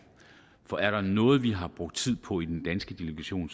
for er der noget vi har brugt tid på i den danske delegation